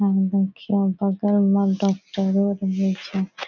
यहां पर देखिओ बगल में डॉक्टरो रहय छै।